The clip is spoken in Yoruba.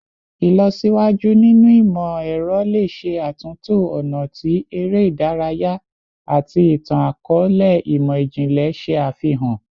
Ilọsiwaju ninu imọ-ẹrọ le ṣe atunto ọna ti ere idaraya ati itan-akọọlẹ imọ-jinlẹ ṣe afihan